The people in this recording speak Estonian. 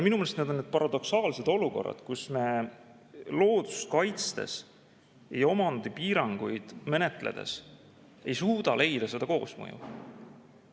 Minu meelest on need paradoksaalsed olukorrad, kus me loodust kaitstes ja omandiga seotud piiranguid ei suuda koosmõju.